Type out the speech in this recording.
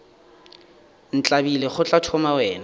ntlabile go tla thoma wena